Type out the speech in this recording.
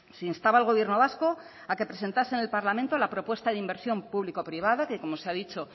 se instaba al gobierno vasco a que presentase en el parlamento la propuesta de inversión público privada que como se ha dicho